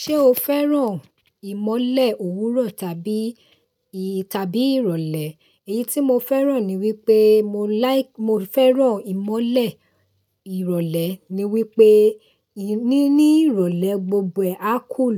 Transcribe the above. Ṣé o fẹ́ràn ìmọ́lẹ̀ òwúrọ̀ tàbí, tàbí ìrọ̀lẹ́? Èyí tí mo fẹ́ràn ni wípé mo like, mo fẹ́ràn ìmọ́lẹ̀ ìrọ̀lẹ́ ni wípé, níní ìrọ̀lẹ́ gbogbo ẹ á cool.